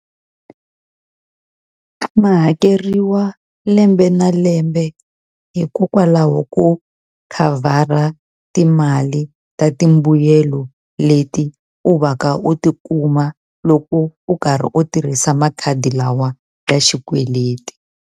Ma hakeriwa lembe na lembe hikokwalaho ko khavhara timali ta timbuyelo leti u va ka u tikuma loko u karhi u tirhisa makhadi lawa ya xikweleti.